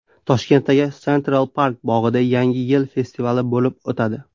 Toshkentdagi Central Park bog‘ida Yangi yil festivali bo‘lib o‘tadi.